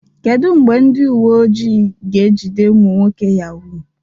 Kedu mgbe ndị uwe ojii ga-ejide ụmụ nwoke Yahoo?